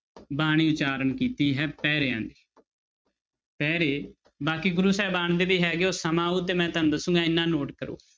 ਬਾਣੀ ਉਚਾਰਨ ਕੀਤੀ ਹੈ ਪਹਿਰਿਆਂ ਪਹਿਰੇ ਬਾਕੀ ਗੁਰੂ ਸਾਹਿਬਾਨ ਦੇ ਵੀ ਹੈਗੇ ਉਹ ਸਮਾਂ ਆਊ ਤੇ ਮੈਂ ਤੁਹਾਨੂੰ ਦੱਸਾਂਗਾ ਇੰਨਾ note ਕਰੋ